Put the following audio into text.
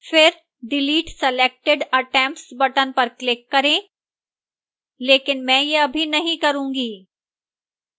फिर delete selected attempts button पर click करें लेकिन मैं यह अभी नहीं करूंगी